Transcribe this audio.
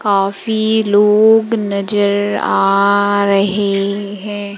काफी लोग नजर आ रहे हैं।